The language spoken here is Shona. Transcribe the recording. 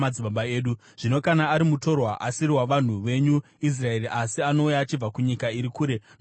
“Zvino kana ari mutorwa, asiri wavanhu venyu Israeri asi anouya achibva kunyika iri kure nokuda kwezita renyu,